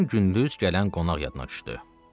Birdən gündüz gələn qonaq yadına düşdü.